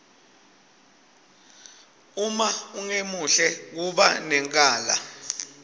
uma ungemuhle kuba nenkala